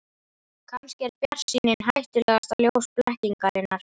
Kannski er bjartsýnin hættulegasta ljós blekkingarinnar.